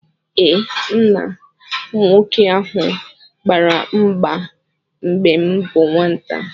Ee,m na nwoke ahụ gbara mgba mgbe m bụ nwata